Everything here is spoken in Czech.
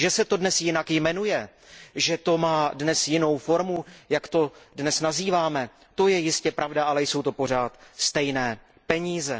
Že se to dnes jinak jmenuje, že to má dnes jinou formu, jak to dnes nazýváme, to je jistě pravda, ale jsou to pořád stejné peníze.